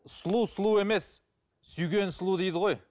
сұлу сұлу емес сүйген сұлу дейді ғой